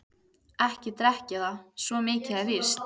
Ekki drekk ég það, svo mikið er víst.